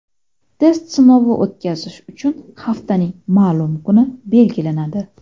Test sinovi o‘tkazish uchun haftaning ma’lum kuni belgilanadi.